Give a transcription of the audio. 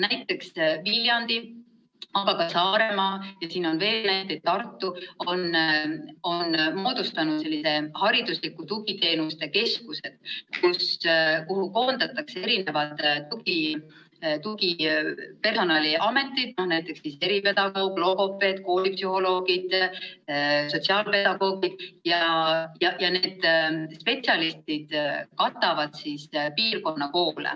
Näiteks on Viljandis, aga ka Saaremaal ja Tartus moodustatud selliseid hariduslike tugiteenuste keskusi, kuhu koondatakse tugipersonali ametid, näiteks eripedagoog, logopeed, koolipsühholoogid, sotsiaalpedagoogid, ja need spetsialistid katavad piirkonna koole.